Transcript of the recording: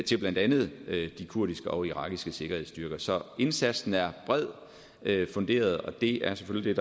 til blandt andet de kurdiske og irakiske sikkerhedsstyrker så indsatsen er bredt funderet og det er selvfølgelig